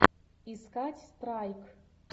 искать страйк